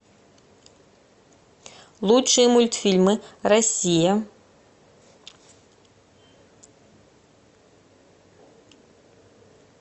лучшие мультфильмы россия